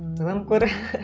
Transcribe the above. ойланып көр